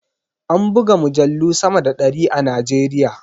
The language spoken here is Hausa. An buga mujallu sama da ɗari a Najeriya.